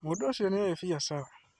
Mũndũũcio nĩ oĩ biacara